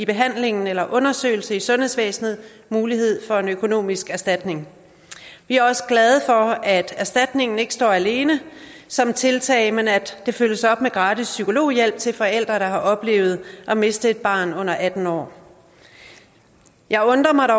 behandlingen eller undersøgelsen i sundhedsvæsenet mulighed for en økonomisk erstatning vi er også glade for at erstatningen ikke står alene som tiltag men at det følges op med gratis psykologhjælp til forældre der har oplevet at miste et barn under atten år jeg undrer mig